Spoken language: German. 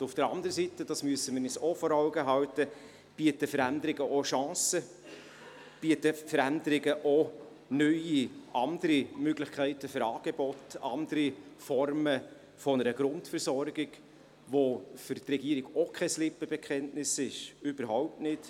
Auf der anderen Seite, und das müssen wir uns auch vor Augen führen, bieten Veränderungen auch Chancen, bieten Veränderungen auch neue, andere Möglichkeiten von Angeboten, andere Formen einer Grundversorgung, welche für die Regierung auch kein Lippenbekenntnis ist, überhaupt nicht.